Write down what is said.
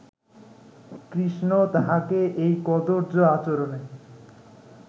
কৃষ্ণ তাঁহাকে এই কদর্য আচরণে